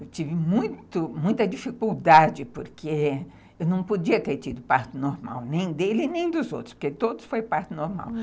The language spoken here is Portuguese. Eu tive muito muita dificuldade, porque eu não podia ter tido parto normal, nem dele, nem dos outros, porque todos foram partos normais.